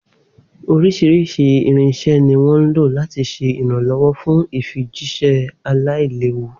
Oríṣiríṣi irinṣẹ́ ni wọ́n ń lò láti ṣe ìrànlọ́wọ́ fún ìfijíṣẹ́ aláìléwu.